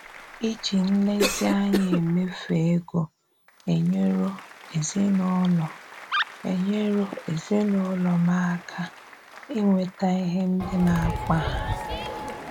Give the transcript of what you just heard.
Ìjì nlezíanya émèfù égo enyèrò ezinụlọ enyèrò ezinụlọ m àká ínwètà íhè ndị na-akpà hà.